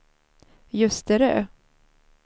Ljusterö